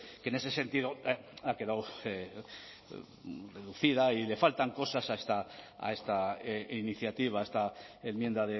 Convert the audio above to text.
que en ese sentido ha quedado reducida y le faltan cosas a esta iniciativa a esta enmienda